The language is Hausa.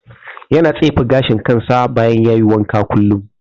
Yana tsefe gashin kansa bayan ya yi wanka kullum.